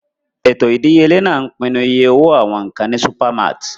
Ètò ìdíyelé náà ń pinnu iye owó àwọn nkan ní supermarts.